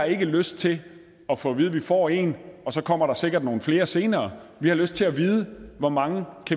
ikke har lyst til at få at vide at vi får en og så kommer der sikkert nogle flere senere vi har lyst til at vide hvor mange